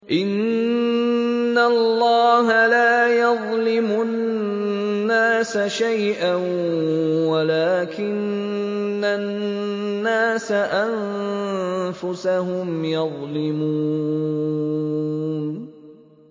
إِنَّ اللَّهَ لَا يَظْلِمُ النَّاسَ شَيْئًا وَلَٰكِنَّ النَّاسَ أَنفُسَهُمْ يَظْلِمُونَ